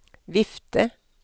vifte